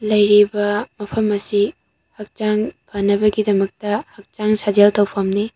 ꯂꯩꯔꯤꯕ ꯃꯐꯝ ꯑꯁꯤ ꯍꯛꯆꯡ ꯐꯅꯕꯒꯤ ꯗꯄꯛꯇ ꯍꯛꯆꯡ ꯁꯥꯖꯦꯜ ꯇꯧꯐꯅꯤ꯫